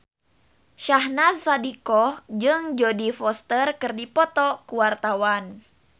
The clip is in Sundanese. Syahnaz Sadiqah jeung Jodie Foster keur dipoto ku wartawan